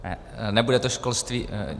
Nebude to školství.